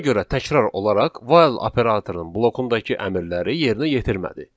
Ona görə təkrar olaraq 'while' operatorunun blokundakı əmrləri yerinə yetirmədi.